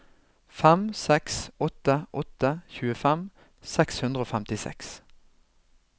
fem seks åtte åtte tjuefem seks hundre og femtiseks